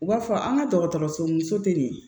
U b'a fɔ an ka dɔgɔtɔrɔso muso tɛ nin ye